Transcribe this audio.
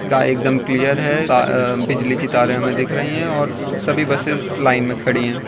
का एकदम क्लियर है आ बिजली की तारें हमें दिख रही हैं और सभी बसे लाइन में खड़ी हैं।